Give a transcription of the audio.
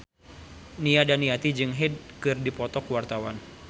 Nia Daniati jeung Hyde keur dipoto ku wartawan